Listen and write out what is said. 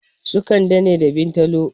Su kande ne da bintalo